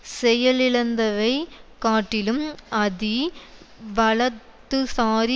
செயலிழந்தவைக் காட்டிலும் அதி வலதுசாரி